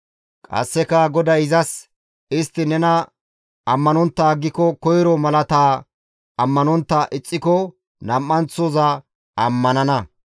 Qasseka GODAY izas, «Istti nena ammanontta aggiko koyro malaataa ammanontta ixxiko, nam7anththoza ammanana.